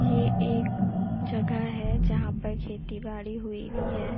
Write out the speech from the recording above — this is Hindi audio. यह एक जगह है जहां पर खेती-बाड़ी हुई है|